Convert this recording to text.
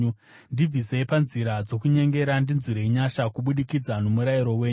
Ndibvisei panzira dzokunyengera; ndinzwirei nyasha kubudikidza nomurayiro wenyu.